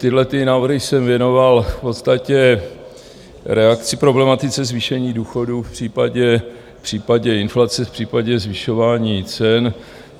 Tyhlety návrhy jsem věnoval v podstatě reakci problematice zvýšení důchodů v případě inflace, v případě zvyšování cen.